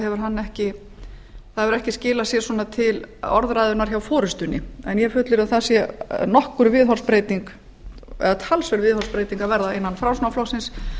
hefur ekki skilað sér til orðræðuna hjá forustunni en ég fullyrði að að þar sé talsverð viðhorfsbreyting að verða innan framsóknarflokksins